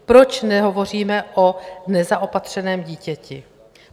Proč nehovoříme o nezaopatřeném dítěti?